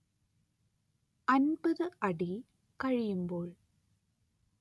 അന്‍പത്ത് അടി കഴിയുമ്പോൾ